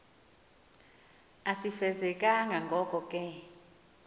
asifezekanga ngoko ke